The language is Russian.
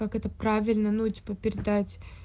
как это правильно ну типа передать